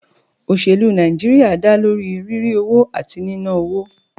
Òṣèlú Nàìjíríà dá lórí rírí owó àti níná owó.